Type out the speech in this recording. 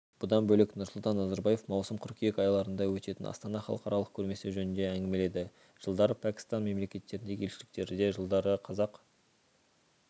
бұдан бөлек нұрсұлтан назарбаев маусым-қыркүйек айларында өтетін астана халықаралық көрмесі жөнінде әңгімеледі жылдарып пәкістан мемлекеттеріндегі елшіліктерінде жылдары қазақ